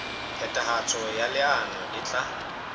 phethahatso ya leano e tla